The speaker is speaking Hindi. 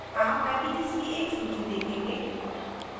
आप पैकेजेस की एक सूची देखेंगे